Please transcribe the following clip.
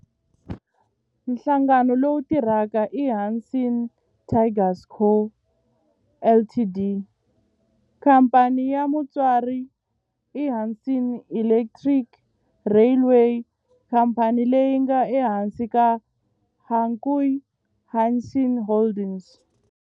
Nhlangano lowu tirhaka i Hanshin Tigers Co., Ltd. Khamphani ya mutswari i Hanshin Electric Railway, khamphani leyi nga ehansi ka Hankyu Hanshin Holdings.